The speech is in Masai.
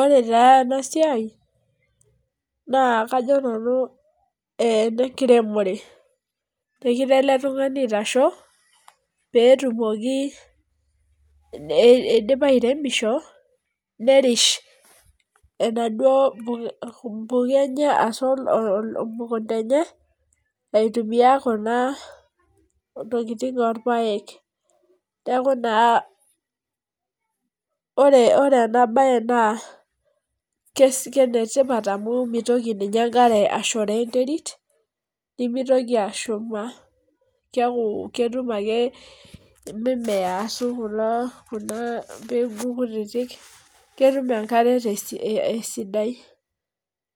Ore taa ena siai naa kajo nanu enenkiremore, negira ele tungani aitasho, peetumoki .idipa airemosho. nerish ena duoo puka enye emukunta enye, aitumia Kuna tokitin orpaek. neeku naa ore, ena bae naa kenetipat amu, mitoki ninye enkare ashorll enterit. nemitoki ashumaa. keeku ketum ake, mimiea ashu Kuna peeku kutitik. ketum enkare te sidai.